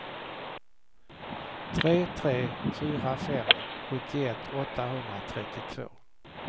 tre tre fyra fem sjuttioett åttahundratrettiotvå